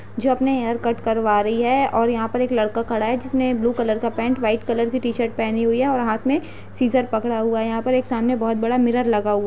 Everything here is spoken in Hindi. जो अपने हेयरकट करवा रही है और यहाँ पर एक लड़का खड़ा है जिसने ब्लू कलर का पैंट व्हाइट कलर की टी-शर्ट पहनी हुई है और हाथ में सीजर पकड़ा हुआ है। यहाँ पर सामने एक बोहोत बड़ा मिरर लगा हुआ --